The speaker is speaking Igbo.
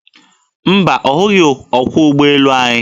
Mba, ọ hụghị ọkwọ ụgbọelu anyị.